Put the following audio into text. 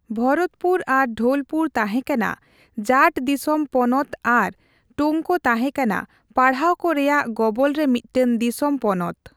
ᱵᱷᱚᱨᱚᱛᱯᱩᱨ ᱟᱨ ᱰᱷᱳᱞᱯᱩᱨ ᱛᱟᱦᱮᱸᱠᱟᱱᱟ ᱡᱟᱴᱷ ᱫᱤᱥᱚᱢ ᱯᱚᱱᱚᱛ ᱟᱨ ᱴᱳᱝᱠ ᱛᱟᱦᱮᱸᱠᱟᱱᱟ ᱯᱟᱲᱦᱟᱣᱠᱚ ᱨᱮᱭᱟᱜ ᱜᱚᱵᱚᱞᱨᱮ ᱢᱤᱫᱴᱟᱝ ᱫᱤᱥᱚᱢ ᱯᱚᱱᱚᱛ ᱾